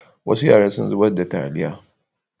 Wasu yara sun zubar da taliya.